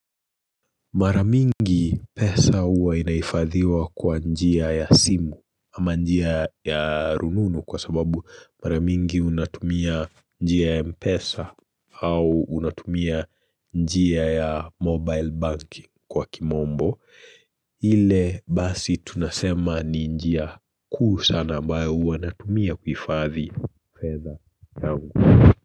Maramingi pesa huwa inahifadhiwa kwa njia ya simu ama njia ya rununu kwa sababu maramingi unatumia njia ya mpesa au unatumia njia ya mobile bank kwa kimombo. Ile basi tunasema ni njia kuu sana ambayo uwa natumia kuhifadhi fedha yangu.